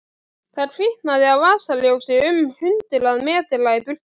Það kviknaði á vasaljósi um hundrað metra í burtu.